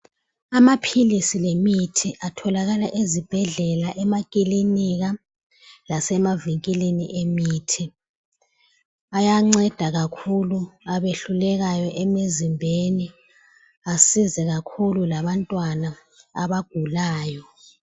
Amaphilisi lemithi atholakala ezibhedlela, emakilinika asemavikilini emithi. Ayanceda kakhulu abehlulekayo emizimbeni ancede kakhulu labantwana abagulayo.